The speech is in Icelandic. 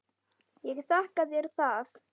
Ég þakka þér það.